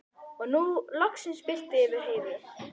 Og nú birti loks yfir Heiðu.